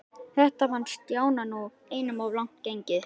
Þetta fannst Stjána nú einum of langt gengið.